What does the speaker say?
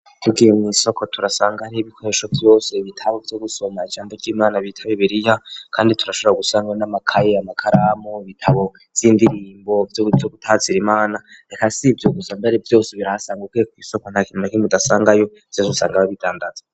Tugiye mw'isoko turasanga ri ibikoresho vyose ibitabo vyo gusoma ijambo ry'imana bitaba ibiriya, kandi turasharwa gusangwa n'amakaye ya makaramu ibitabo z'indirimbo vyozo gutazira imana reka sie ivyogusa mbere vyose birasangaukeko'isoko nta kinuma nkimu udasangayo vyosusanga bo bidandazwe.